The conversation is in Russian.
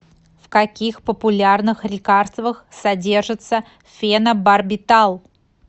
в каких популярных лекарствах содержится фенобарбитал